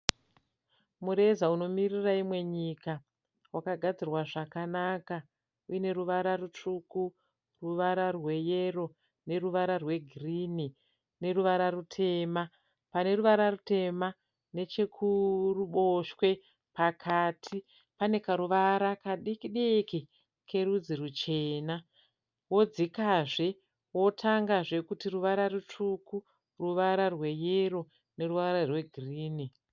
Mureza unomiririra imwe nyika wakagadzirwa zvakanaka uine ruvara rutsvuku, ruvara rweyero neruvara rwegirini neruvara rutema. Paneruvara rutema nechekuruboshwe pakati pane karuvara kadikidiki kerudzi ruchena. Wodzikazve wotangazve kuti ruvara rutsvuku, ruvara rweyero neruvara rwegirini.